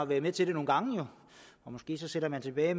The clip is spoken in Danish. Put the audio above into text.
været med til det nogle gange måske sidder man tilbage og